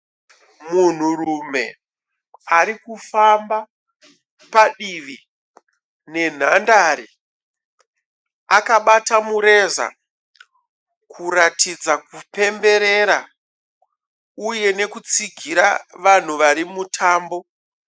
Munhurume arikufamba padivi nenhandare. Akabata mureza kuratidza kupemberera, uye nekutsigira vanhu varimumutambo.